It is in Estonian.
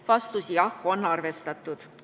Vastus: jah, on arvestatud.